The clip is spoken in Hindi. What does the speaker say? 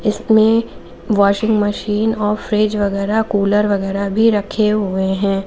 इसमें वाशिंग मशीन और फ्रिज वगैरा कूलर वगैरा भी रखे हुए हैं।